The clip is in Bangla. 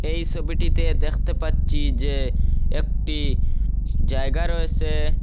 এই ছবিটিতে দেখতে পাচ্চি যে একটি জায়গা রয়েসে ।